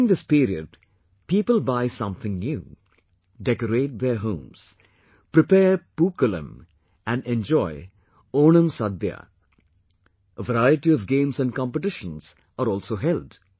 During this period, people buy something new, decorate their homes, prepare Pookalam and enjoy OnamSaadiya... variety of games and competitions are also held